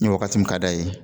Ni waagati min ka da ye.